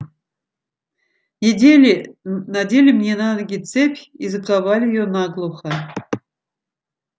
надели мне на ноги цепь и заковали её наглухо